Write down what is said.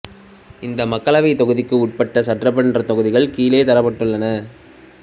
இந்த மக்களவைத் தொகுதிக்கு உட்பட்ட சட்டமன்றத் தொகுதிகள் கீழே தரப்பட்டுள்ளன